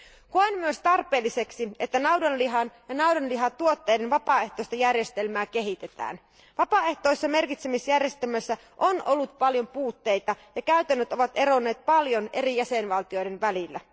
Koen myös tarpeelliseksi, että naudanlihan ja naudanlihatuotteiden vapaaehtoista järjestelmää kehitetään. Vapaaehtoisessa merkitsemisjärjestelmässä on ollut paljon puutteita, ja käytännöt ovat eronneet paljon eri jäsenvaltioiden välillä.